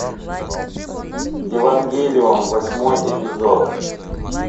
евангелион восьмой эпизод